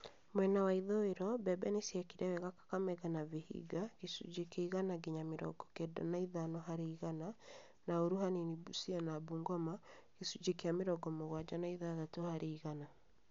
Mwena wa ithũĩro, mbembe nĩciekire wega Kakamega na Vihiga (gĩcunjĩ kĩa igana nginya mĩrongo kenda na ithano harĩ igana) na ũũru hanini Busia na Bungoma (gĩcunjĩ kĩa mĩrongo mũgwanja na ithathatũ harĩ igana)